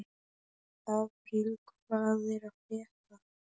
Apríl, hvað er að frétta?